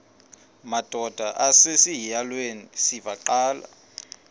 madod asesihialweni sivaqal